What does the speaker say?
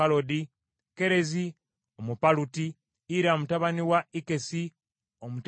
Kerezi Omupaluti, Ira mutabani wa Ikkesi Omutekowa,